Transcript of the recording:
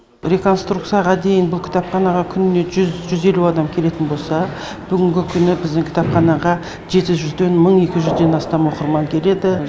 реконструкцияға дейін бұл кітапханаға күніне жүз жүз елу адамға келетін болса бүгінгі күні біздің кітапханаға жеті жүзден мың екі жүзден астам оқырман келеді